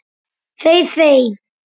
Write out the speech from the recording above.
Þey þey!